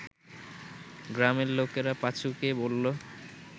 গ্রামের লোকেরা পাঁচুকে বলল